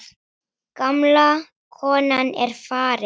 Gamla konan er farin.